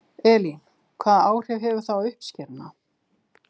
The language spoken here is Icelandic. Elín: Hvaða áhrif hefur það á uppskeruna?